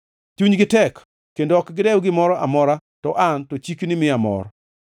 Chunygi tek kendo ok dew gimoro amora; to an to chikni miya mor.